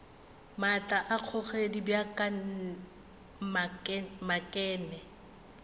maatla a kgogedi bja maknete